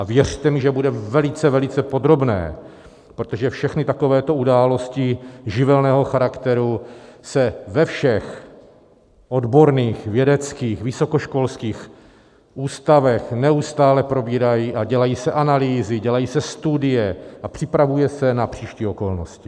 A věřte mi, že bude velice, velice podrobné, protože všechny takovéto události živelního charakteru se ve všech odborných vědeckých vysokoškolských ústavech neustále probírají a dělají se analýzy, dělají se studie a připravuje se na příští okolnosti.